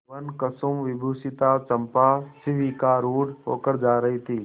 वनकुसुमविभूषिता चंपा शिविकारूढ़ होकर जा रही थी